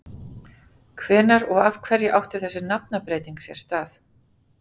Hvenær og af hverju átti þessi nafnabreyting sér stað?